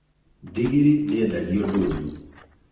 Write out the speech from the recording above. Ndigiri ndĩendagio ndũnyũ